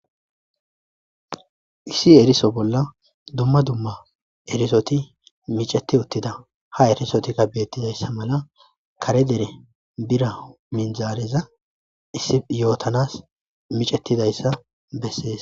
Issi eriso bolla dumma dumma erissoti micceti uttidia ha errisoti bettizayssa malla kare deere biira minzareza issi yotanas miccetidayssa besses.